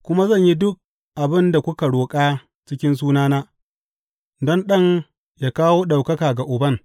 Kuma zan yi duk abin da kuka roƙa cikin sunana, don Ɗan ya kawo ɗaukaka ga Uban.